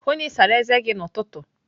Hụụ na Ị sara eze gi n'ụtụtụ!